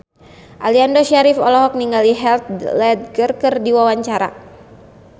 Aliando Syarif olohok ningali Heath Ledger keur diwawancara